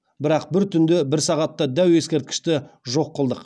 бірақ бір түнде бір сағатта дәу ескерткішті жоқ қылдық